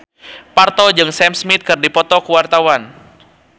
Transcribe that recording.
Parto jeung Sam Smith keur dipoto ku wartawan